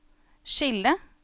skille